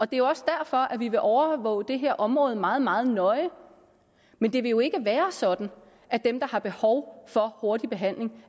det er jo også derfor at vi vil overvåge det her område meget meget nøje men det vil jo ikke være sådan at dem der har behov for hurtig behandling